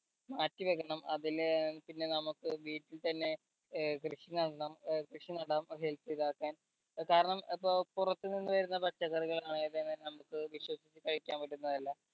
മാറ്റി വെക്കണം അതില് ഏർ നമ്മക്ക് വീട്ടിൽ തന്നെ ഏർ കൃഷി നടണം ഏർ കൃഷി നടാം health ഇതാക്കാൻ കാരണം ഇപ്പൊ പുറത്ത് നിന്ന് വരുന്ന പച്ചക്കറികൾ ആണേ തന്നെ നമ്മക്ക് വിശ്വസിച്ച് കഴിക്കാൻ പറ്റുന്നതല്ല